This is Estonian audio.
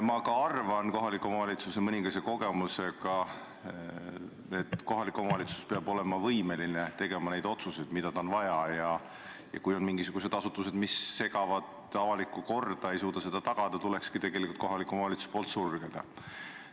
Ma arvan mõningase kohaliku omavalitsuse kogemuse põhjal, et kohalik omavalitsus peab olema võimeline tegema neid otsuseid, mida tal on vaja teha, ja kui on mingisugused asutused, mis ei suuda tagada avalikku korda, tuleks kohalikul omavalitsusel need sulgeda.